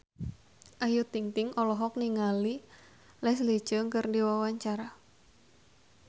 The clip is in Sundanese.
Ayu Ting-ting olohok ningali Leslie Cheung keur diwawancara